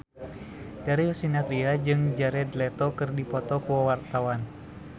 Darius Sinathrya jeung Jared Leto keur dipoto ku wartawan